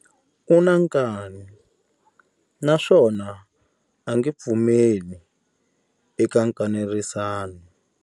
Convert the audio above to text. U na nkani naswona a nge pfumeli eka nkanerisano.